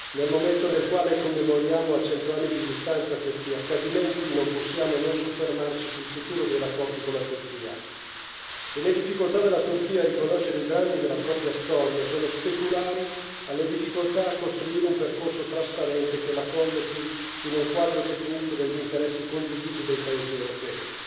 nel momento nel quale commemoriamo a 100 anni di distanza questi accadimenti non possiamo non soffermarci sul futuro dei rapporti con la Turchia e le difficoltà della Turchia a riconoscere i drammi della propria storia sono speculari alle difficoltà a costruire un percorso trasparente che la collochi in un quadro definito degli interessi condivisi dei paesi europei.